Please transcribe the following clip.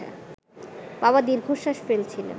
বাবা দীর্ঘশ্বাস ফেলছিলেন